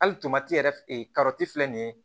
Hali yɛrɛ filɛ nin ye